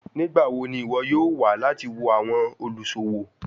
Nigbawo ni iwọ yoo wa lati wo awọn oluṣowo?